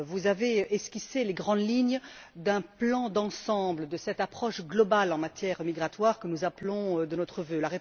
Vous avez esquissé les grandes lignes d'un plan d'ensemble de cette approche globale en matière migratoire que nous appelons de nos vœux.